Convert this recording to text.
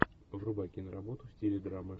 врубай киноработу в стиле драма